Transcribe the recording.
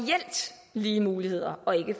lige muligheder og ikke